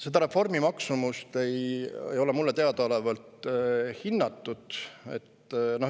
Selle reformi maksumust ei ole mulle teadaolevalt hinnatud.